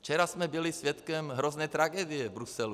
Včera jsme byli svědkem hrozné tragédie v Bruselu.